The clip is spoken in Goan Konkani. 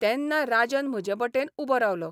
तेन्ना राजन म्हजे वटेन उबो रावलो.